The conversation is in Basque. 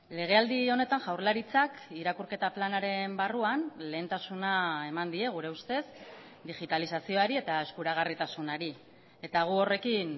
legealdi honetan jaurlaritzak irakurketa planaren barruan lehentasuna eman die gure ustez digitalizazioari eta eskuragarritasunari eta gu horrekin